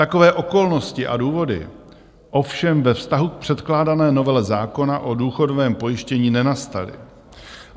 Takové okolnosti a důvody ovšem ve vztahu k předkládané novele zákona o důchodovém pojištění nenastaly.